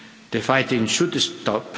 The fighting should